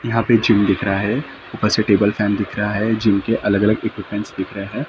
यहा पे जिम दिख रहा हे उपर से टेबल फॅन दिख रहा है जिम के अलग अलग इक्विपमेंट्स दिख रहे है ।